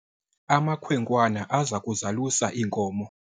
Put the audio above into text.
amakhwenkwana aza kuzalusa iinkomo